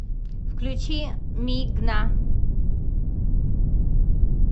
включи ми гна